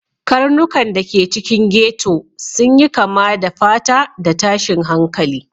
Karnukan da ke cikin ghetto sun yi kama da fata da tashin hankali